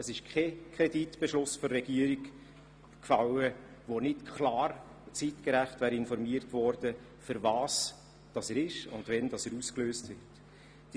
Es ist kein Kreditbeschluss der Regierung gefallen, bei dem nicht klar und zeitgerecht informiert worden wäre, wofür er ist und wann er ausgelöst wird.